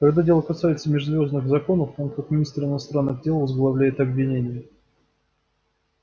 когда дело касается межзвёздных законов он как министр иностранных дел возглавляет обвинение